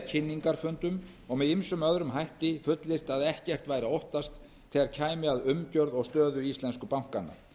kynningarfundum og ýmsum öðrum hætti fullyrt að ekkert væri að óttast þegar kæmi að umgjörð og stöðu íslensku bankanna